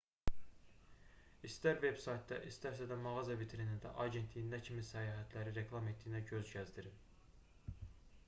i̇stər veb-saytda istərsə də mağaza vitrinində agentliyin nə kimi səyahətləri reklam etdiyinə göz gəzdirin